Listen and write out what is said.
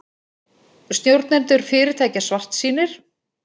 Stjórnendur fyrirtækja svartsýnir